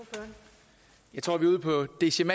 ligesom